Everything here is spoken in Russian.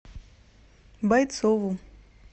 бойцову